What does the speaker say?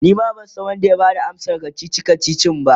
Nima bansan Wanda ya Bada amsan kachichi kachichin ba